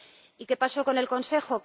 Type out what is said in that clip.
¿Y qué pasó con el Consejo?